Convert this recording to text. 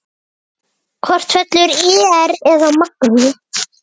Hvort fellur ÍR eða Magni?